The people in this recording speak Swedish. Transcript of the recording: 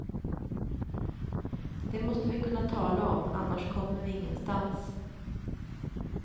Det måste vi kunna tala om, annars kommer vi ingenstans.